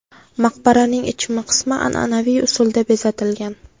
Maqbaraning ichki qismi an’anaviy usulda bezatilgan.